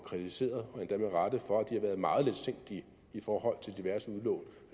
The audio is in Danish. kritiseret og endda med rette for at de har været meget letsindige i forhold til diverse udlån